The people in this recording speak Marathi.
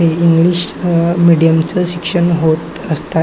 हे इंग्लिश मीडियम च शिक्षण होत असतात.